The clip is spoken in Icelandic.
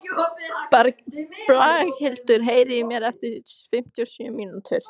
Braghildur, heyrðu í mér eftir fimmtíu og sjö mínútur.